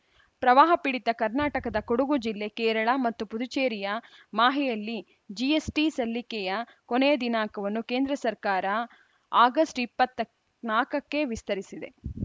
ಪ್ರವಾಹ ಪೀಡಿತ ಕರ್ನಾಟಕದ ಕೊಡಗು ಜಿಲ್ಲೆ ಕೇರಳ ಮತ್ತು ಪುದುಚೇರಿಯ ಮಾಹೆಯಲ್ಲಿ ಜಿಎಸ್‌ಟಿ ಸಲ್ಲಿಕೆಯ ಕೊನೆಯ ದಿನಾಂಕವನ್ನು ಕೇಂದ್ರ ಸರ್ಕಾರ ಆಗಸ್ಟ್ ಇಪ್ಪತ್ತ ನಾಲ್ಕಕ್ಕೆ ವಿಸ್ತರಿಸಿದೆ